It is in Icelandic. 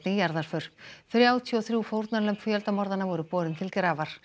jarðarför þrjátíu og þrjú fórnarlömb fjöldamorðanna voru borin til grafar